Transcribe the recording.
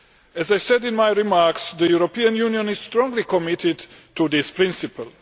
As I said in my remarks, the European Union is strongly committed to this principle.